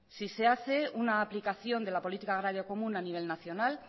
si se hace una aplicación de la política agraria común a nivel nacional